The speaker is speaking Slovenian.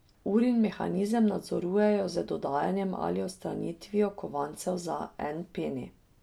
Urin mehanizem nadzorujejo z dodajanjem ali odstranitvijo kovancev za en peni.